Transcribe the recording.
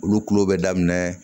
Olu kulo bɛ daminɛ